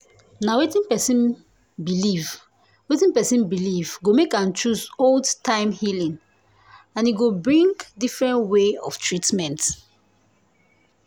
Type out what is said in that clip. na wetin person believe wetin person believe go make am choose old-time healing and e go bring different way of treatment.